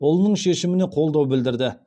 ұлының шешіміне қолдау білдірді